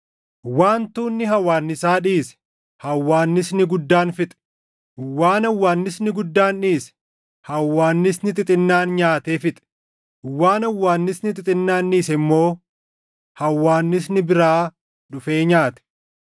Waan tuunni hawwaannisaa dhiise, hawwaannisni guddaan fixe; waan hawwaannisni guddaan dhiise, hawwaannisni xixinnaan nyaatee fixe; waan hawwaannisni xixinnaan dhiise immoo hawwaannisni biraa dhufee nyaate.